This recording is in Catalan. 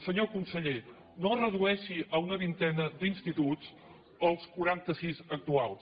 senyor conseller no redueixi a una vintena d’instituts els quaranta sis actuals